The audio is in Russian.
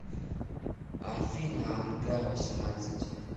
афина ангар восемьнадцать